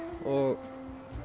og